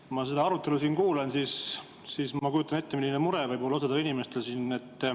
Kui ma seda arutelu kuulan, siis ma kujutan ette, milline mure võib olla osal inimestel siin.